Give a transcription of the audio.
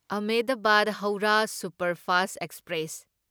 Ahmedabad Howrah superfast express